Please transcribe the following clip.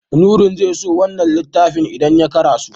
Nurain zai so wannan littafin idan ya karaso.